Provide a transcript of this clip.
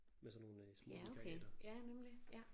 Med sådan nogle små vikariater